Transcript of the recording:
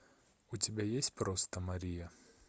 у тебя есть просто мария